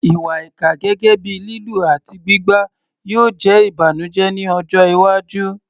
Ìwà ìkà, gẹ́gẹ́ bíi lílù àti gbígbá, yóò jẹ́ ìbànújẹ́ ní ọjọ́ iwájú.